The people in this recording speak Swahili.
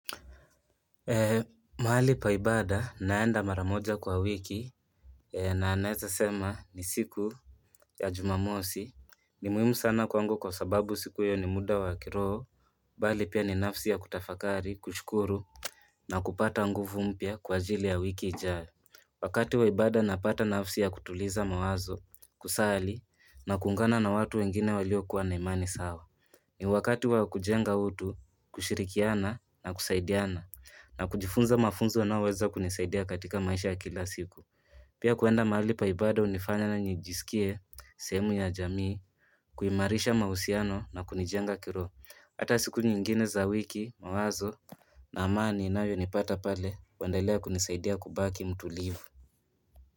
Mahali pa ibada naenda mara moja kwa wiki na naeza sema ni siku ya jumamosi ni muhimu sana kwangu kwa sababu siku iyo ni muda wa kiroho. Mbali pia ni nafsi ya kutafakari, kushukuru na kupata nguvu mpya kwa ajili ya wiki ijayo Wakati wa ibada napata nafsi ya kutuliza mawazo, kusali, na kuungana na watu wengine walio kuwa na imani sawa ni wakati wa kujenga utu, kushirikiana na kusaidiana na kujifunza mafunzo yanayo weza kunisaidia katika maisha ya kila siku Pia kuenda mahali pa ibada hunifanya na nijisikie sehemu ya jamii kuimarisha mahusiano na kunijenga kiroho Hata siku nyingine za wiki mawazo na amani inayo nipata pale huendelea kunisaidia kubaki mtulivu.